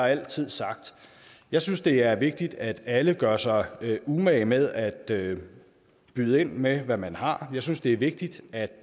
altid sagt jeg synes det er vigtigt at alle gør sig umage med at byde ind med hvad man har jeg synes det er vigtigt at